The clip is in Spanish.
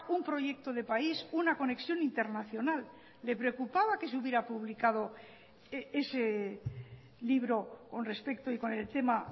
un proyecto de país una conexión internacional le preocupaba que se hubiera publicado ese libro con respecto y con el tema